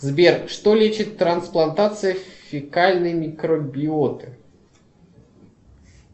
сбер что лечит трансплантация фекальной микробиоты